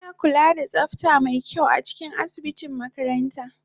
Ana kula da tsafta mai kyau a cikin asibitin makaranta